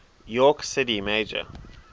york city mayor